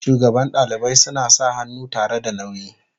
shugaban dalibai suna sa hannu tare da nauyi.